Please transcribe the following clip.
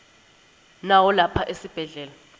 nawo lapha esibhedlela